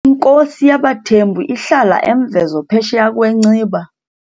Inkosi yabaThembu ihlala eMvezo Phesheya kweNciba.